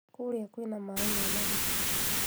kũũrĩa kwĩna maaĩ mena gĩko